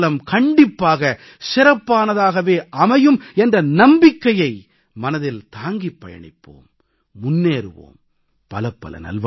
தேசத்தின் எதிர்காலம் கண்டிப்பாக சிறப்பானதாகவே அமையும் என்ற நம்பிக்கையை மனதில் தாங்கிப் பயணிப்போம் முன்னேறுவோம்